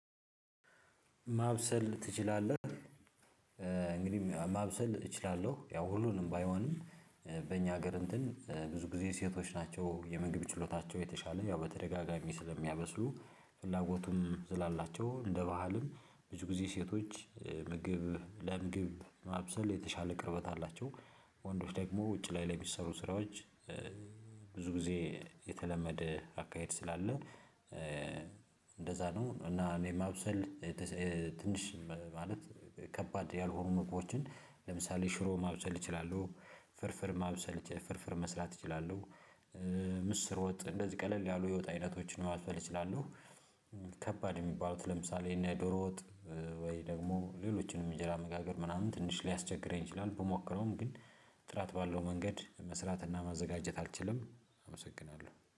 ማብሰል ትችላለህ? እንግዲህ ማብሰል እችላለሁ ያው ሁሉንም ባይሆንም በእኛ ሀገር እንትን ብዙ ጊዜ ሴቶች ናቸው የምግብ ችሎታቸው የተሻለ ያው በተደጋጋሚ ስለሚያበስሉ ፍላጎቱም ዝላላቸው እንደ ባህልም ብዙ ጊዜ ሴቶች ምግብ ለምግብ ማብሰል የተሻለ ቅርበት አላቸው። ወንዶች ደግሞ ውጭ ላይ ለሚሰሩ ስራዎች ብዙ ጊዜ የተለመደ አካሄድ ስላለ። እንደዛ ነው እና እኔ ማብሰል ትንሽ ማለት ከባድ ያልሆኑ ምግቦችን ለምሳሌ ሽሮ ማብሰል እችላለሁ። ፍርፍር ማብሰል ፍርፍር መስራት እችላለሁ። ምስር ወጥ እንደዚህ ቀለል ያሉ የወጥ አይነቶችን ማብሰል እችላለሁ። ከባድ እሚባሉት ለምሳሌ እንደ ዶሮ ወጥ። ወይ ደግሞ ሌሎችንም እንጀራ መጋገር ምናምን ትንሽ ሊያስቸግረኝ ይችላል። በሞከረውም ግን ጥራት ባለው መንገድ መስራትና ማዘጋጀት አልችልም። አመሰግናለሁ